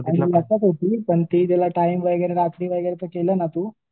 पण ती त्याला टाइम वगैरे रात्री वगैरे केलं ना तू